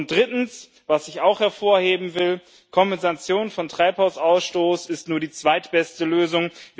Drittens, was ich auch hervorheben will Eine Kompensation von Treibhausgasausstoß ist nur die zweitbeste Lösung.